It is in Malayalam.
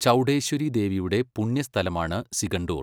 ചൗഡേശ്വരി ദേവിയുടെ പുണ്യസ്ഥലമാണ് സിഗണ്ടൂർ.